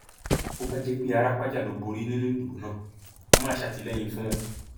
bó bá jẹ pé árápájá ló borí nínú ìdìbò náà mo máa ṣàtìlẹyìn fún un